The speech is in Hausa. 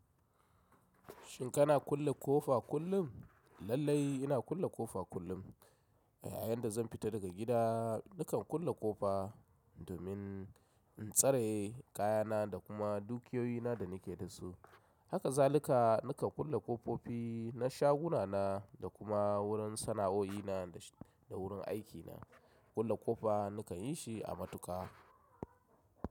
Shin kana kulle kofa kullum? Lallai ina kulle ƙofa kullum. A yayin da zan fita daga gida, nakan kulle ƙofa, domin in tsare kayana da kuma dukiyoyi na da nake da su. Hakazalika, nakan kulle ƙofofi na shaguna na, da kuma wurin sana'o'i na da wurin aikina. Kulle ƙofa nakan yi shi a matuƙa.